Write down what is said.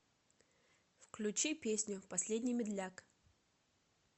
включи песню последний медляк